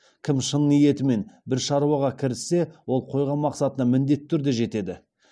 кім шын ниетімен бір шаруаға кіріссе ол қойған мақсатына міндетті түрде жетеді